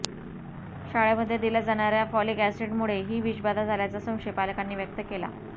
शाळेमध्ये दिल्या जाणाऱ्या फॉलिक अॅसिडमुळे ही विषबाधा झाल्याचा संशय पालकांनी व्यक्त केला